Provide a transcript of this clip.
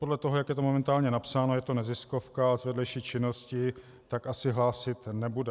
Podle toho, jak je to momentálně napsáno, je to neziskovka z vedlejší činnosti, tak asi hlásit nebude.